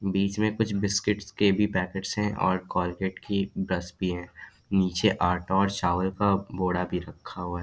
बीच में कुछ बिस्किड्स के भी पैकेट्स भी है और कोलगेट की ब्रश भी है नीचे आटा और चावल का बोरा भी रखा हुआ है।